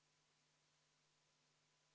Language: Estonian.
Suur tänu, lugupeetud ettekandja!